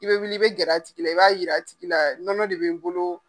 I bɛ wuli i bɛ gɛrɛ a tigi la i b'a yira tigi la nɔnɔ de bɛ n bolo.